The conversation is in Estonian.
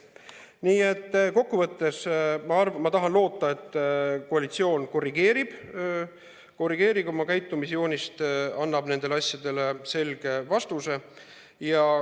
Nii et kokkuvõttes tahan loota, et koalitsioon korrigeerib oma käitumisjoonist, annab nendele asjadele selge vastuse.